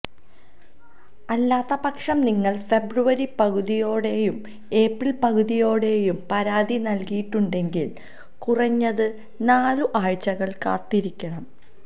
അല്ലാത്തപക്ഷം നിങ്ങൾ ഫെബ്രുവരി പകുതിയോടെയും ഏപ്രിൽ പകുതിയോടെയും പരാതി നൽകിയിട്ടുണ്ടെങ്കിൽ കുറഞ്ഞത് നാലു ആഴ്ചകൾ കാത്തിരിക്കണം